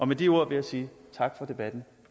med de ord vil jeg sige tak for debatten